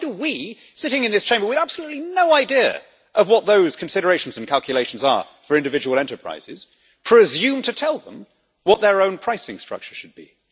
Why do we sitting in this Chamber with absolutely no idea of what those considerations and calculations are for individual enterprises presume to tell them what their own pricing structure should be?